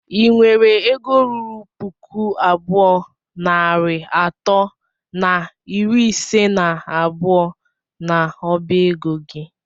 ị nwere egọ rụrụ pụkụ abụọ nari atọ na ịrị ise na abụọ na ọba egọ gị?